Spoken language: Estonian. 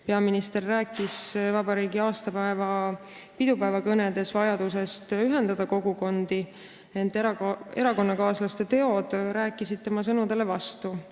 Peaminister rääkis vabariigi aastapäeva pidupäevakõnedes vajadusest ühendada kogukondi, ent erakonnakaaslaste teod on rääkinud tema sõnadele vastu.